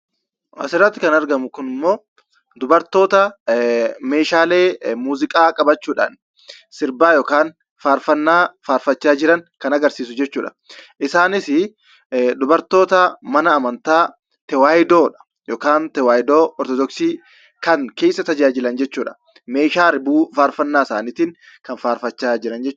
Asirratti kan argamu kun immoo Dubartoota Meeshaalee Muuziqaa qabachuudhaan sirbaa yookaan faarfannaa faarfachaa jiran kan agarsiisu jechuudha. Isaanis Dubartoota Mana Amantaa Tawaahidoodha yookaan Tawaahidoo Ortodooksii kan keessa tajaajilan jechuudha. Meeshaa ribuu faarfannaa isaaniitiin kan faarfachaa jiran jechuudha.